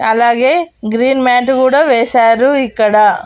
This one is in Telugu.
అలాగే గ్రీన్ మ్యాటు గుడ వేశారు ఇక్కడ.